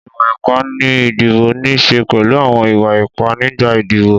Ìwà ipá ni ìdìbò níí sè pẹ̀lú àwọn ìwà ipá nígbà ìdìbò